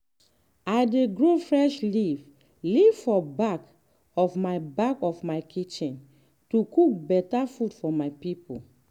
i dey grow fresh leaf-leaf for back of my back of my kitchen to cook better food for my people.